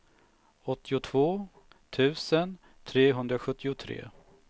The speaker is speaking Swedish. åttiotvå tusen trehundrasjuttiotre